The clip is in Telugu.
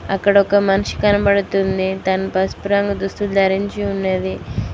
అక్కడ ఒక మనిషి కనపడుతుంది తను పసుపు రంగు దుస్తులు ధరించి ఉన్నది.